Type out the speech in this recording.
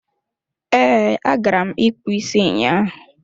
Ee, agara m ịkpụ isi ụnyaahụ.